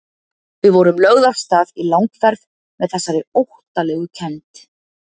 Við vorum lögð af stað í langferð með þessari óttalegu kennd.